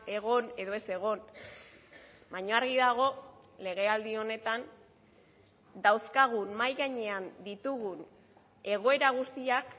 egon edo ez egon baina argi dago legealdi honetan dauzkagun mahai gainean ditugun egoera guztiak